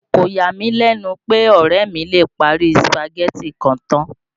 Kò yà mí lẹ̀nu pè, ọ̀rẹ́ mi lè parí Sùpàgẹ́tì kan tán